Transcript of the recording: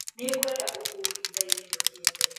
Nĩ ngwenda ũkũũi ithaa-inĩ rĩokite